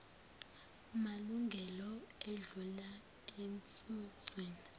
malungelo edlulela enzuzweni